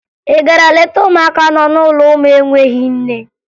Ị gara leta ụmụaka nọ n'ụlọ ụmụ enweghi nne?